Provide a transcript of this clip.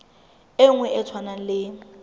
e nngwe e tshwanang le